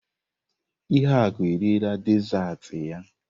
Ihuaku eriela dezaatị ya.